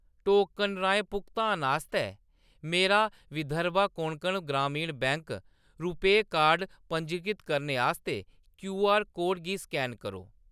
Token राहें भुगतान आस्तै मेरा विदर्भ कोंकण ग्रामीण बैंक रूपेऽ कार्ड कार्ड पंजीकृत करने आस्तै क्यूआर कोड गी स्कैन करो।